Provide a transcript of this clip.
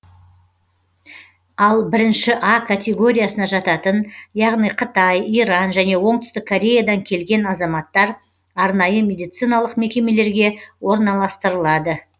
ал бірінші а категориясына жататын яғни қытай иран және оңтүстік кореядан келген азаматтар арнайы медициналық мекемелерге орналастырылады